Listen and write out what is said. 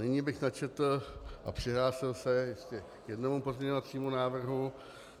Nyní bych načetl a přihlásil se ještě k jednomu pozměňovacímu návrhu.